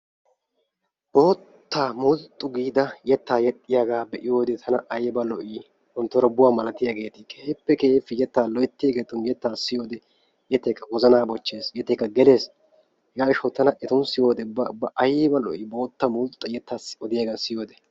Boottaa mulxxu giida yetta yexxiyaaga be'iyoode tana aybba lo"i! Monttorbuwa malariyaageeti keehippe keehippe yetta loyttiyaageetun yetta siyyiyo wode yeettaykka wozanna bochchees, yettaykka gelees. Hega gishshaw tana etun siyyiyode ubba ubba aybba lo"i! bootta mulxxa yetta odiyaaga siyyiyoode...